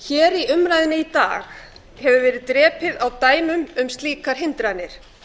hér í umræðunni í dag hefur verið drepið á dæmum um slíkar hindranir